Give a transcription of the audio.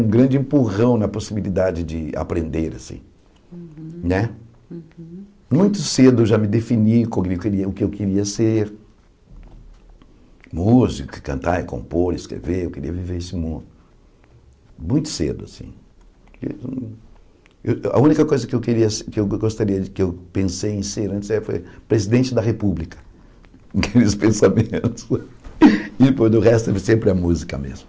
um grande empurrão na possibilidade de aprender né muito cedo eu já me defini o que eu queria ser músico e cantar, e compor, e escrever eu queria viver esse mundo muito cedo assim eu a única coisa que eu queria ser que eu gostaria que eu pensei em ser antes é foi presidente da república aqueles pensamentos e do resto sempre a música mesmo